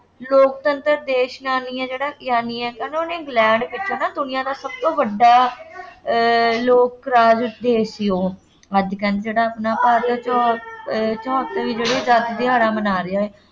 ਲੋਕਤੰਤਰ ਦੇਸ਼ ਹੈ, ਜਿਹੜਾ ਹੈ, ਕਹਿੰਦੇ ਕੀਤਾ ਨਾ, ਦਨੀਆਂ ਦਾ ਸਭ ਤੋਂ ਵੱਡਾ ਅਹ ਲੋਕ ਰਾਜ ਦੇਸ਼ ਸੀ ਉਹ ਅੱਜ ਕਹਿੰਦੇ ਜਿਹੜਾ ਆਪਣਾ ਅਹ ਚਹੋਤਰਵੀਂ ਜਿਹੜੀ ਆਜ਼ਾਦੀ ਦਿਹਾੜਾ ਮਨਾ ਰਿਹਾ ਹੈ।